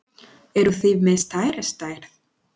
Eruð þið með stærri stærð?